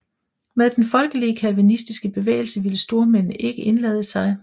Med den folkelige kalvinistiske bevægelse ville stormændene ikke indlade sig